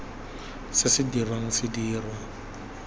se se dirwang se dirwa